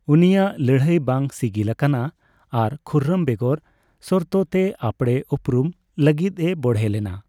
ᱩᱱᱤᱭᱟᱜ ᱞᱟᱹᱲᱦᱟᱹᱭ ᱵᱟᱝ ᱥᱤᱜᱤᱞ ᱟᱠᱟᱱᱟ ᱟᱨ ᱠᱷᱩᱨᱨᱚᱢ ᱵᱮᱜᱚᱨᱼᱥᱚᱨᱛᱚ ᱛᱮ ᱟᱯᱲᱮ ᱳᱯᱨᱳᱫ ᱞᱟᱹᱜᱤᱫᱼᱮ ᱵᱚᱲᱦᱮ ᱞᱮᱱᱟ ᱾